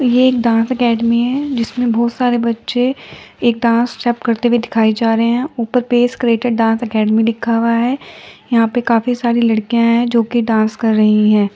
ये dance academy है जिसमें बहुत सारे बच्चे एक डांस स्टेप करते हुए दिखाई जा रहे हैं ऊपर पेस्ट क्रीटेड डांस एकेडमी लिखा हुआ है यहां पर काफी सारी लड़कियां हैं जोकि डांस कर रही हैं।